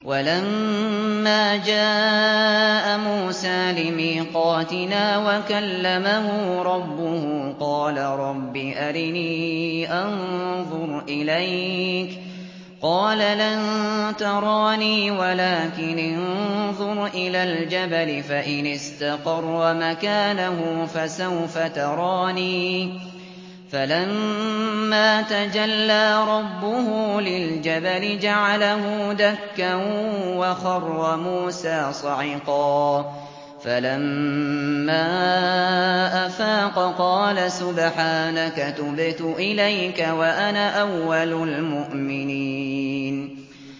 وَلَمَّا جَاءَ مُوسَىٰ لِمِيقَاتِنَا وَكَلَّمَهُ رَبُّهُ قَالَ رَبِّ أَرِنِي أَنظُرْ إِلَيْكَ ۚ قَالَ لَن تَرَانِي وَلَٰكِنِ انظُرْ إِلَى الْجَبَلِ فَإِنِ اسْتَقَرَّ مَكَانَهُ فَسَوْفَ تَرَانِي ۚ فَلَمَّا تَجَلَّىٰ رَبُّهُ لِلْجَبَلِ جَعَلَهُ دَكًّا وَخَرَّ مُوسَىٰ صَعِقًا ۚ فَلَمَّا أَفَاقَ قَالَ سُبْحَانَكَ تُبْتُ إِلَيْكَ وَأَنَا أَوَّلُ الْمُؤْمِنِينَ